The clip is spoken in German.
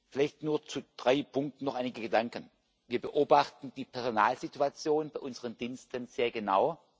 Vielleicht nur zu drei Punkten noch einige Gedanken Wir beobachten die Personalsituation bei unseren Diensten sehr genau.